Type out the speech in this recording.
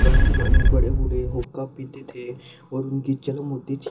पुराने जमाने में बड़े बड़े हुक्का पीते थे और उनकी जन्म होती थी।